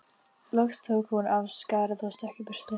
Loks tók hún af skarið og stökk í burtu.